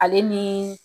Ale ni